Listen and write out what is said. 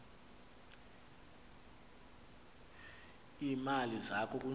iimali zakho kunzima